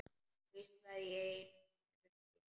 Hvísla í eyru þín.